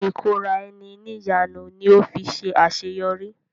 ìkóra ẹni níjàánu ni ó fi ṣe àṣeyọrí.